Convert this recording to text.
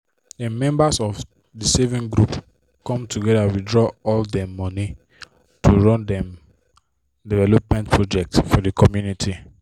dem member of the saving group come together withdraw all dem money to run dem development project for the community